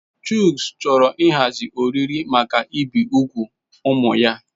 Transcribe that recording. Chucks chọrọ ịhazi oriri maka ibi úgwù ụmụ ya.